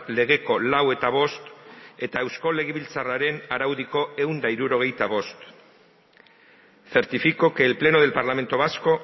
legeko lau eta bost eta eusko legebiltzarraren araudiko ehun eta hirurogeita bost certifico que el pleno del parlamento vasco